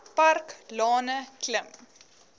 park lane klim